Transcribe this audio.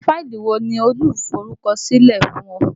Àwọn fáìlì wo ni oluforukosile fún ẹ?